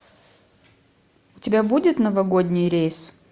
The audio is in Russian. у тебя будет новогодний рейс